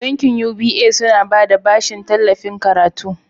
Bankin UBA suna bada bashin tallafin karatu.